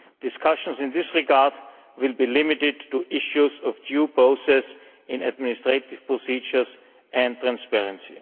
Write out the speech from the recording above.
Discussions in this regard will be limited to issues of due process in administrative procedures and transparency.